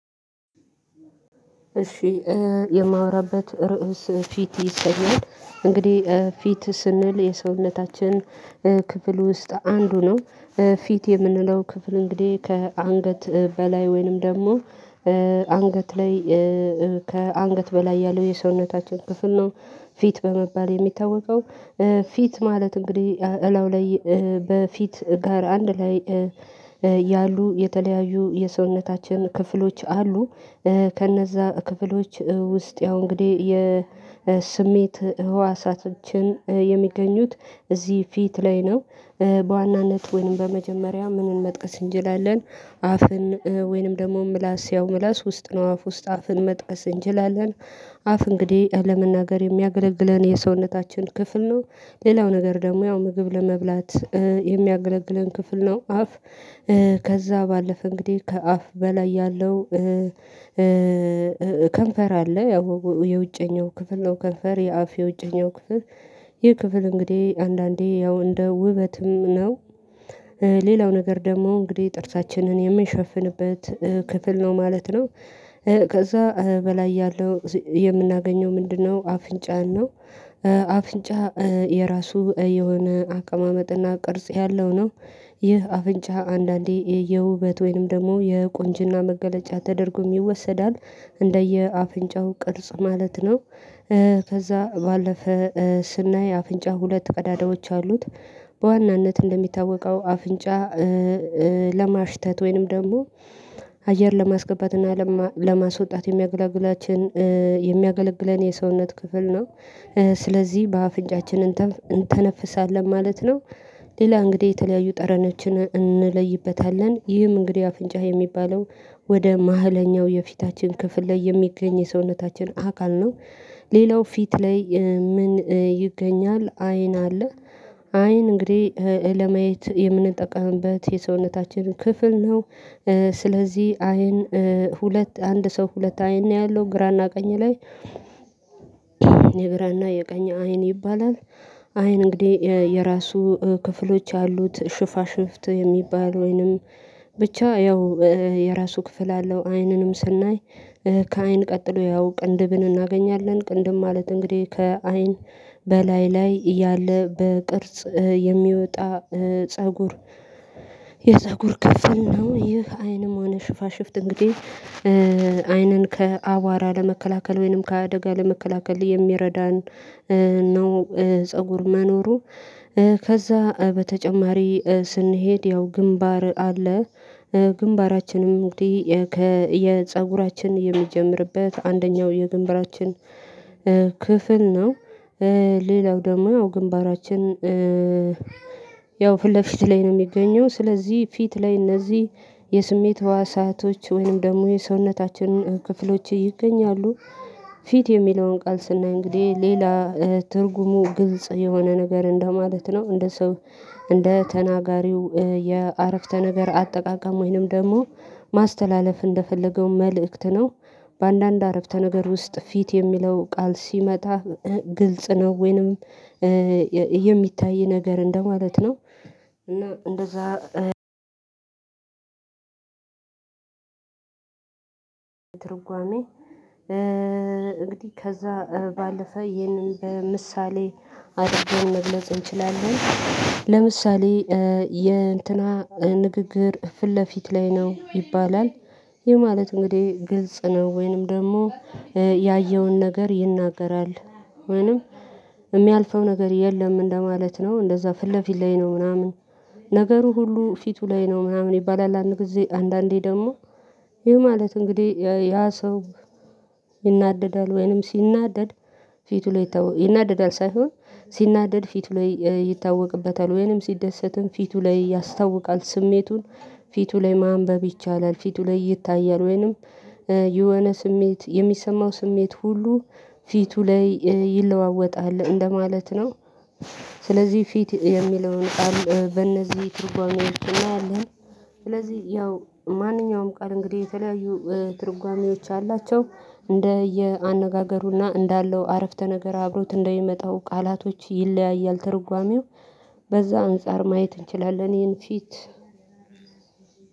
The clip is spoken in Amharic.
እሺ። የማውራበት ርዕስ ፊት ይሰኛል እንግዲህ ፊት ስንል የሰውነታችን ክፍል ውስጥ አንዱ ነው። ፊት የምንለው ክፍል እንግዲህ ከአንገት በላይ ወይንም ደግሞ። አንገት ላይ ከአንገት በላይ ያለው የሰውነታችን ክፍል ነው። ፊት በመባል የሚታወቀው። ፊት ማለት እንግዲህ እላው ላይ በፊት ጋር አንድ ላይ ያሉ የተለያዩ የሰውነታችን ክፍሎች አሉ። ከነዛ ክፍሎች ውስጥ ያው እንግዲህ የስሜት ህዋሳቶችን የሚገኙት እዚህ ፊት ላይ ነው። በዋናነት ወይንም በመጀመሪያ ምንን መጥቀስ እንችላለን? አፍን ወይንም ደግሞ ምላስ ያው ምላስ ውስጥ ነው አፍ ውስጥ አፍን መጠቀስ እንችላለን። አፍ እንግዲህ ለመናገር የሚያገለግለን የሰውነታችን ክፍል ነው። ሌላው ነገር ደግሞ ያው ምግብ ለመብላት የሚያገለግለን ክፍል ነው። አፍ ከዛ ባለፈ እንግዲህ ከአፍ በላይ ያለው ከንፈር አለ ያው የውጭኛው ክፍል ነው ከንፈር የአፍ የውጭኛው ክፍል። ይህ ክፍል እንግዲህ አንዳንዴ ያው እንደ ውበትም ነው። ሌላው ነገር ደግሞ እንግዲህ ጥርሳችንን የምንሸፍንበት ክፍል ነው ማለት ነው። ከዛ በላይ ያለው የምናገኘው ምንድነው? አፍንጫን ነው። አፍንጫ የራሱ የሆነ አቀማመጥና ቅርጽ ያለው ነው። ይህ አፍንጫ አንዳንዴ የውበት ወይንም ደግሞ የቁንጅና መገለጫ ተደርጎ ይወሰዳል። እንደየ አፍንጫው ቅርጽ ማለት ነው። ከዛ ባለፈ ስናይ አፍንጫ ሁለት ቀዳዳዎች አሉት። በዋናነት እንደሚታወቀው አፍንጫ ለማሽተት ወይንም ደግሞ አየር ለማስገባት እና ለማስወጣት የሚገላግላችን የሚያገለግለን የሰውነት ክፍል ነው። ስለዚህ በአፍንጫችን እንተነፍሳለን ማለት ነው። ሌላ እንግዲህ የተለያዩ ጠረኖዎችን እንለይበታለን ይህም እንግዲህ አፍንጫ የሚባለው ወደ ማህለኛው የፊታችን ክፍል ላይ የሚገኝ የሰውነታችን አካል ነው። ሌላው ፊት ላይ ምን ይገኛል? አይን አለ። አይን እንግዲህ ለማየት የምንጠቀምበት የሰውነታችን ክፍል ነው። ስለዚህ አይን ሁለት አንድ ሰው ሁለት አይን ነው ያለው ግራና ቀኝ ላይ። የቀኝ አይን ይባላል። አይን እንግዲህ የራሱ ክፍሎች ያሉት ሽፋሽፍት የሚባል ወይንም ብቻ ያው የራሱ ክፍል አለው። አይንንም ስናይ ከአይን ቀጥሎ ያው ቅንድብን እናገኛለን ቅንድብ ማለት እንግዲህ ከአይን በላይ ላይ ያለ በቅርጽ የሚወጣ ፀጉር። የፀጉር ክፍል ነው ይህ አይንም ሆነ ሽፋሽፍት እንግዲህ አይንን ከአቧራ ለመከላከል ወይንም ከአደጋ ለመከላከል የሚረዳን ነው። ፀጉር መኖሩ። ከዛ በተጨማሪ ስንሄድ ያው ግንባር አለ። ግንባራችንም እንግዲህ የፀጉራችን የሚጀምርበት አንደኛው የግንብራችን ክፍል ነው። ሌላው ደግሞ ግንባራችን ያው ፊትለፊት ላይ ነው የሚገኘው። ስለዚህ ፊት ላይ እነዚህ የስሜት ህዋሳቶች ወይንም ደግሞ የሰውነታችን ክፍሎች ይገኛሉ። ፊት የሚለውን ቃል ስናይ እንግዲህ ሌላ ትርጉሙ ግልጽ የሆነ ነገር እንደማለት ነው። እንደ ሰው እንደ ተናጋሪው የአረፍተ ነገር አጠቃቀም ወይንም ደግሞ ማስተላለፍ እንደፈለገው መልእክት ነው። በአንዳንድ አረፍተ ነገር ውስጥ ፊት የሚለው ቃል ሲመጣ ግልጽ ነው ወይንም የሚታይ ነገር እንደ ማለት ነው። እና እንደዛ። ትርጓሜ እንግዲህ ከዛ ባለፈ ይህንን በምሳሌ አደርገን መግለጽ እንችላለን። ለምሳሌ የእንትና ንግግር ፊት ለፊት ላይ ነው ይባላል። ይህ ማለት እንግዲህ ግልጽ ነው ወይንም ደግሞ ያየውን ነገር ይናገራል። ወይንም የሚያልፈው ነገር የለም እንደ ማለት ነው። እንደዛ ፊት ለፊት ላይ ነው ምናምን ነገሩ ሁሉ ፊቱ ላይ ነው ምናምን ይባላል። አንድ ጊዜ አንዳዴ ደግሞ ይህ ማለት እንግዲህ ያ ሰው። ይናደዳል ወይንም ሲናደድ ፊቱ ላይ ይታወቅ ይናደዳል ሳይሆን ሲናደድ ፊቱ ላይ ይታወቅበታል። ወይንም ሲደሰትም ፊቱ ላይ ያስታውቃል ስሜቱን። ፊቱ ላይ ማንበብ ይቻላል ፊቱ ላይ ይታያል ወይንም የሆነ ስሜት የሚሰማው ስሜት ሁሉ ፊቱ ላይ ይለዋወጣል እንደማለት ነው። ፊት የሚለውን ቃል በእነዚህ ትርጓሜ ውስጥ እናያአለን። ስለዚህ ያው ማንኛውም ቃል እንግዲህ የተለያዩ ትርጓሜዎች አላቸው። እንደ የ አነጋገሩና እንዳለው አረፍተ ነገር አብሮት እንደሚመጣው ቃላቶች ይለያያል ትርጓሜው። በዛ አንፃር ማየት እንችላለን ይህን ፊት